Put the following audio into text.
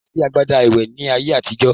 Kòsí agbada ìwẹ̀ ní ayé àtijọ́.